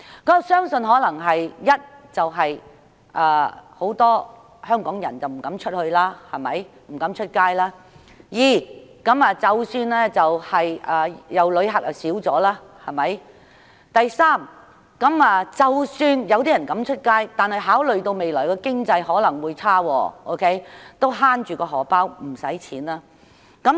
我相信可能因為第一，很多香港人不敢外出；第二，旅客減少；或第三，即使有人有膽外出，但考慮到未來經濟有可能轉差，因此會想節省金錢。